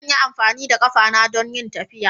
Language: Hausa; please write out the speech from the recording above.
Zan yi amfani da ƙafata don yin tafiya.